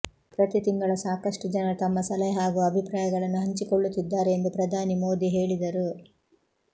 ಪ್ರತಿತಿಂಗಳ ಸಾಕಷ್ಟು ಜನರು ತಮ್ಮ ಸಲಹೆ ಹಾಗೂ ಅಭಿಪ್ರಾಯಗಳನ್ನು ಹಂಚಿಕೊಳ್ಳುತ್ತಿದ್ದಾರೆ ಎಂದು ಪ್ರಧಾನಿ ಮೋದಿ ಹೇಳಿದರು